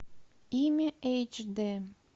имя эйч д